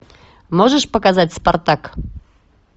можешь показать спартак